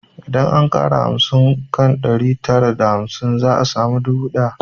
Idan an ƙara hamsin kan ɗari tara da hamsin za a samu dubu ɗaya